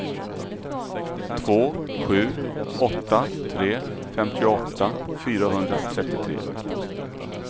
två sju åtta tre femtioåtta fyrahundratrettiotre